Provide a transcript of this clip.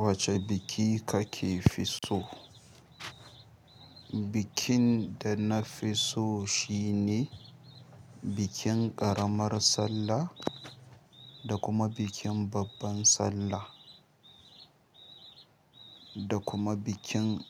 Wace biki ka ke fi so? Bikin da na fi so shi ne bikin ƙaramar sallah da kuma bikin babban sallah, da kuma bikin